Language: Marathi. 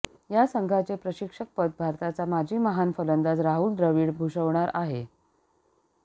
या संघाचे प्रशिक्षकपद भारताचा माजी महान फलंदाज राहुल द्रविड भुषवणार आहे